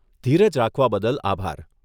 ધીરજ રાખવા બદલ આભાર.